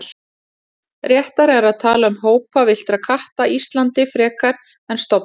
réttara er að tala um hópa villtra katta íslandi frekar en stofna